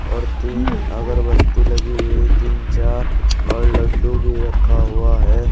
और तीन अगरबत्ती लगी हुई है तीन चार और लड्डू भी रखा हुआ है।